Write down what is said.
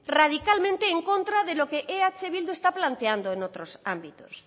radicalmente en contra de los que eh bildu está planteando en otros ámbitos